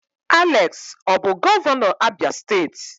Alex ọ bụ gọvanọ Abia steeti?